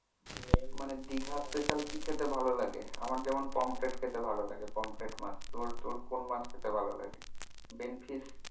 main Digha special কি খেতে ভালো লাগে আমার যেমন পমফ্রেট খেতে ভালো লাগে পমফ্রেট মাছ তোর তোর কোন মাছ খেতে ভালো লাগে benfish